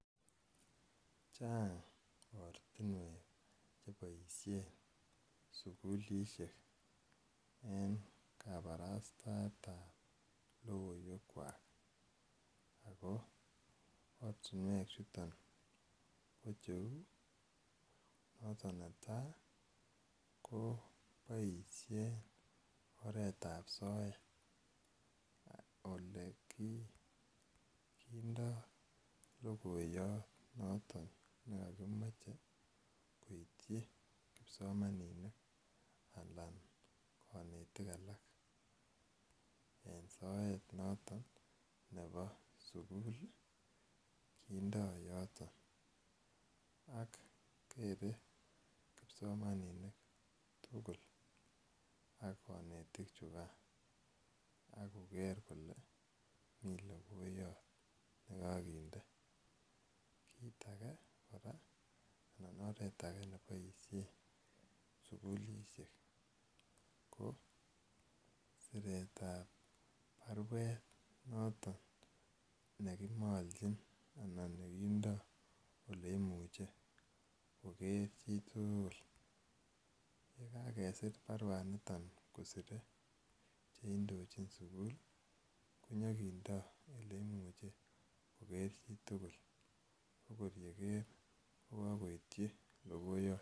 Chang' ortinwek che poishen sukulishek en kaparastaet ap logoiwekwak. Ako ortinwechuton kp cheu noton ne tai ko poishen oretap soet ole kindai logoiyat noton ne kakimache koitchi kipsomaninik anan kanetik en soet noton nepo sukul kindai yoton. Ak kere kipsomaninik tugul ak kanetik chukaa ako ker kole mi logoiyat ne kakinde. Kiit age kora anan oret age ne poishe sukulishek ko siretap parwet noton ne kimalchin anan nekindai ole imuchi koker chi tugul. Ye kakesir parwaniniton kosire che indochin sukul ko nyikindai ole imuchi koker chi tugul. Ako ye ker ko kakoitchi logoiyat.